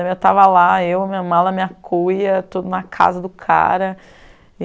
Eu estava lá, eu, minha mala, minha cuia, tudo na casa do cara.